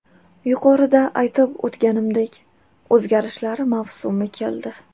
Yuqorida aytib o‘tganimdek, o‘zgarishlar mavsumi keldi.